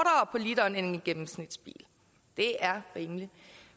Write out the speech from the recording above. på literen end en gennemsnitsbil det er rimeligt